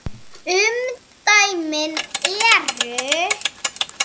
Umdæmin eru